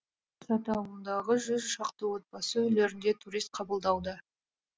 саты ауылындағы жүз шақты отбасы үйлерінде турист қабылдауда